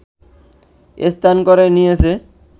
স্থান করে নিয়েছে